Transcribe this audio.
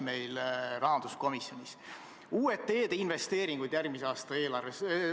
Võtame uued teedeinvesteeringud järgmise aasta eelarves.